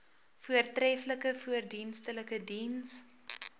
voortreflike verdienstelike diens